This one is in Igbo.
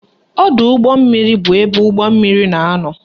Ọdọụgbọmmiri bụ ebe ụgbọmmiri na-anọ